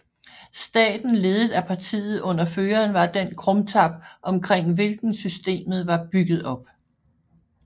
Staten ledet af partiet under føreren var den krumtap omkring hvilken systemet var bygget op